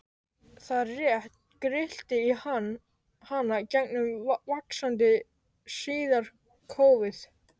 Það rétt grillti í hana gegnum vaxandi hríðarkófið.